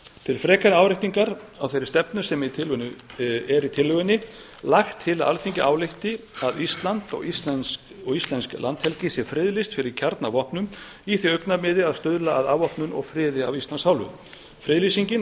til frekari áréttingar á þeirri stefnu er í tillögunni lagt til að alþingi álykti að ísland og íslensk landhelgi sé friðlýst fyrir kjarnavopnum í því augnamiði að stuðla að afvopnun og friði af íslands hálfu friðlýsingin